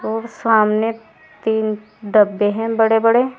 और सामने तीन डब्बे हैं बड़े बड़े।